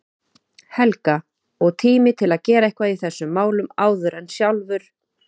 Helga, og tími til að gera eitthvað í þessum málum áður en sjálfur